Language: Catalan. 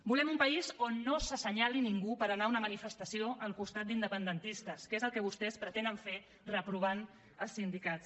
volem un país on no s’assenyali ningú per anar a una manifestació al costat d’independentistes que és el que vostès pretenen fer reprovant els sindicats